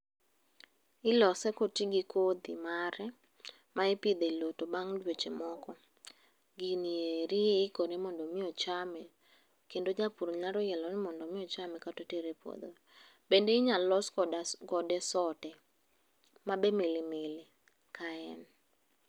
Ilose koti gikodhi mare ma ipidhelo to bang' dweche moko, gini eri ikore mondo mi ochame. Kendo japur nyalo yiero ni mondo mi ochame kata otere e puodho. Bende inyalo los kode sote mabe milimili ka en.